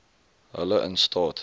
hulle in staat